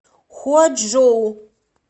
хуачжоу